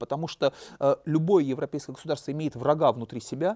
потому что любой европейское государство имеет врага внутри себя